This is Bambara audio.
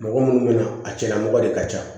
Mɔgɔ munnu bɛna a cɛla mɔgɔ de ka ca